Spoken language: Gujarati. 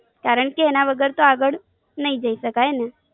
કારણ કે એના વગર તો આગળ નય જય શકાયને,